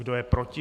Kdo je proti?